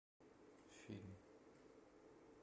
фильм